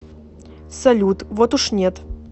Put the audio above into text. салют вот уж нет